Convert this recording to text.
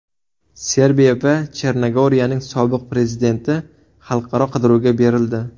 Serbiya va Chernogoriyaning sobiq prezidenti xalqaro qidiruvga berildi.